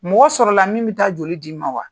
Mɔgɔ sɔrɔla la min bɛ taa joli di'i ma wa?